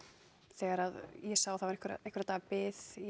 þegar ég sá að það var einhverra einhverra daga bið